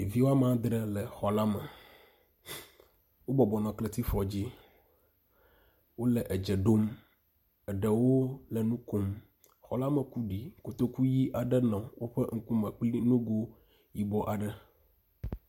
Ɖevi woame aŋdre le xɔla me, wo bɔbɔnɔ kletifɔ dzi, wole edze ɖom. Eɖewo le nukom, xɔla me ku ɖi kotoku ɣi aɖe nɔ woƒe ŋkume kple nugo yibɔ aɖe.